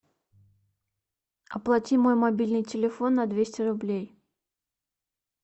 оплати мой мобильный телефон на двести рублей